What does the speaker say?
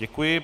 Děkuji.